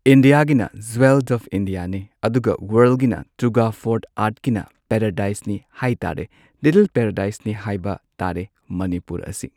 ꯏꯟꯗꯤꯌꯥꯒꯤꯅ jewel of ꯏꯟꯗꯤꯌꯥꯅꯤ ꯑꯗꯨꯒ ꯋꯥꯔꯜꯒꯤꯅ ꯇꯨꯒ ꯐꯣꯔ ꯑꯥꯔꯠꯀꯤꯅ ꯄꯦꯔꯦꯗꯥꯏꯁꯅꯤ ꯍꯥꯏ ꯇꯥꯔꯦ ꯂꯤꯇꯜ ꯄꯦꯔꯦꯗꯥꯏꯁꯅꯤ ꯍꯥꯏꯕ ꯇꯥꯔꯦ ꯃꯅꯤꯄꯨꯔ ꯑꯁꯤ꯫